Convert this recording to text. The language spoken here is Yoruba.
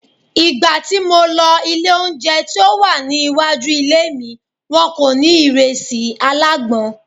Ìgbà tí mo lọ ilé oúnjẹ tí ó wà ní iwájú ilé mi, wọn kò ní ìrẹsì alágbọ̀n.